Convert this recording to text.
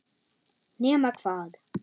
Nema hvað.